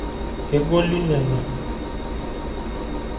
Kegoli nena.